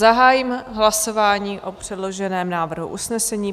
Zahájím hlasování o předloženém návrhu usnesení.